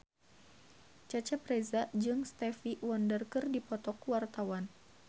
Cecep Reza jeung Stevie Wonder keur dipoto ku wartawan